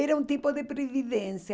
Era um tipo de previdência.